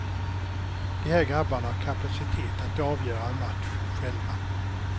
De här grabbarna har kapacitet att avgöra en match själva.